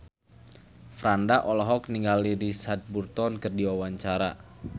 Franda olohok ningali Richard Burton keur diwawancara